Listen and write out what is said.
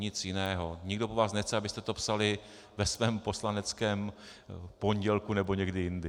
Nic jiného, nikdo po vás nechce, abyste to psali ve svém poslaneckém pondělku nebo někdy jindy.